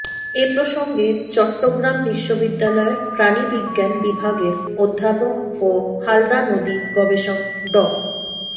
এ প্রসঙ্গে চট্টগ্রাম বিশ্ববিদ্যালয়ের প্রাণীবিজ্ঞান বিভাগের অধ্যাপক ও হালদা নদী গবেষক ড